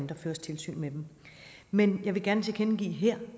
der føres tilsyn med dem men jeg vil gerne tilkendegive her